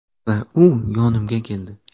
Va u yonimga keldi.